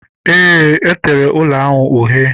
Eé, e tere ụlọ ahụ uhie